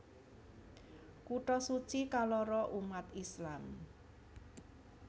Kutha suci kaloro umat Islam